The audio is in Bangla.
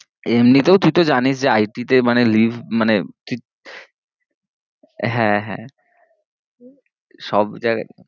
এম্নিতেও তুই তো জেনিস যে it তে মানে leave মানে তুই হ্যাঁ হ্যাঁ সব জায়গা